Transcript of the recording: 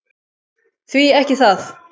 Því ekki það!